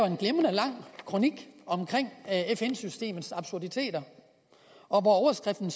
en glimrende lang kronik om fn systemets absurditeter og hvor overskriften